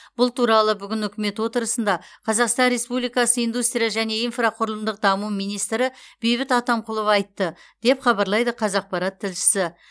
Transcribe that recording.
бұл туралы бүгін үкімет отырысында қазақстан республикасы индустрия және инфрақұрылымдық даму министрі бейбіт атамқұлов айтты деп хабарлайды қазақпарат тілшісі